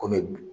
Kɔmi